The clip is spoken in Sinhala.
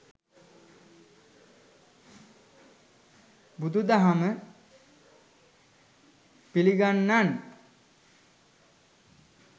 බුදු දහම පිළිගන්නන්